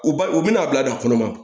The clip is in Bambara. U ba u bɛna a bila kɔnɔma